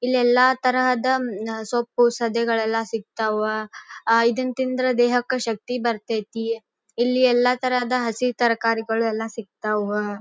ಇಲ್ಲಿ ಎಲ್ಲಾ ತರಹದ ಸೊಪ್ಪು ಸದೆಗಳಲ್ಲ ಸಿಕ್ತಾ ವ ಅಹ್ ಅಹ್ ಇದನ್ನ ತಿಂದ್ರೆ ದೇಹಕ್ಕೆ ಶಕ್ತಿ ಬರ್ತತಿ ಇಲ್ಲಿ ಎಲ್ಲಾ ತರಹದ ಹಸಿ ತರಕಾರಿಗಳು ಎಲ್ಲ ಸಿಗುತ್ತವ